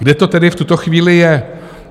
Kde to tedy v tuto chvíli je?